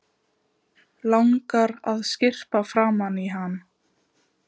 Langar að skyrpa framan í hann.